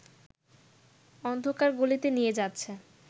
অন্ধকার গলিতে নিয়ে যাচ্ছে